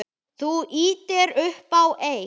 Þú ýtir upp á eitt.